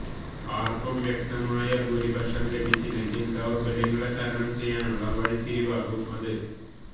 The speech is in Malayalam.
ആര്ക്കും വ്യക്തമായ ഭൂരിപക്ഷം ലഭിച്ചില്ലെങ്കില് ദൌര്ബല്യങ്ങളെ തരണം ചെയ്യാനുള്ള വഴിത്തിരിവാകും അത്